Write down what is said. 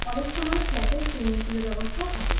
অনেক সময় ফ্ল্যাটে সুইমিং পুলের ব্যবস্থাও থাকে।